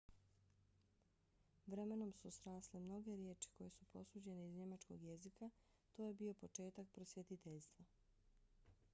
vremenom su srasle mnoge riječi koje su posuđene iz njemačkog jezika. to je bio početak prosvjetiteljstva